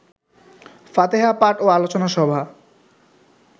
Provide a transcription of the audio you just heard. ফাতেহা পাঠ ও আলোচনা সভা